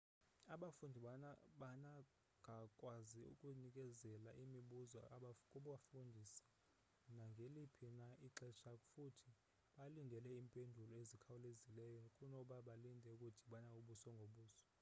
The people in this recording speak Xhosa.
abafundi banagakwazi ukunikezela imibuzo kubafundisi nangeliphi na ixesha futhi balindele iimpendulo ezikhawulezileyo kunoba balinde ukudibana ubuso ngobuso